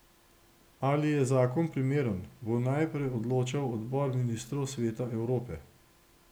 Ali je zakon primeren, bo najprej odločal odbor ministrov Sveta Evrope.